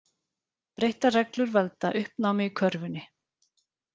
Breyttar reglur valda uppnámi í körfunni